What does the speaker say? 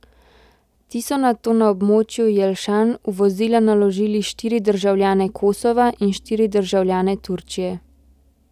Ti so nato na območju Jelšan v vozila naložili štiri državljane kosova in štiri državljane Turčije.